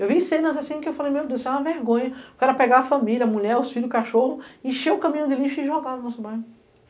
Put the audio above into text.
Eu vi cenas assim que eu falei, meu Deus, isso é uma vergonha, o cara pegar a família, a mulher, os filhos, o cachorro, encher o caminho de lixo e jogar no nosso bairro.